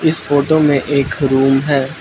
इस फोटो में एक रूम है।